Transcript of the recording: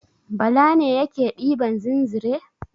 Bala ne yake ɗiban zinzre.